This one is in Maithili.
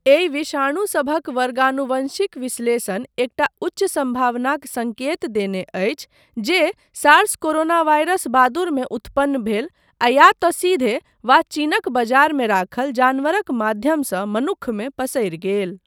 एहि विषाणु सभक वर्गानुवंशिक विश्लेषण एकटा उच्च सम्भावनाक सङ्केत देने अछि जे सार्स कोरोनावायरस बादुरमे उत्पन्न भेल आ या तँ सीधे वा चीनक बजारमे राखल जानवरक माध्यमसँ मनुक्खमे पसरि गेल।